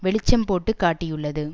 வெளிச்சம் போட்டு காட்டியுள்ளது